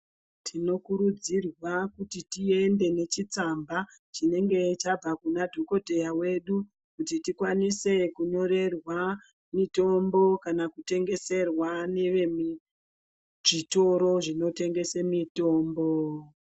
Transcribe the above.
Tinokurudzirwa kuti tiende nechitsamba chinenge chabva kuna dhokodheya wedu kuti tikwanise kunyorerwa mitombo kana kutengeserwa nevemuzvitoro zvinotengese mitombo.